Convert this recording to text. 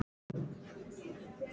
Margrét er farin.